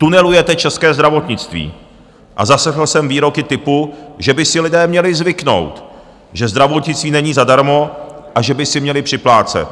Tunelujete české zdravotnictví a zaslechl jsem výroky typu, že by si lidé měli zvyknout, že zdravotnictví není zadarmo a že by si měli připlácet.